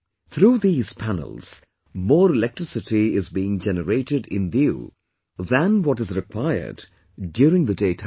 Through these panels, more electricity is being generated in Diu than what is required during the day time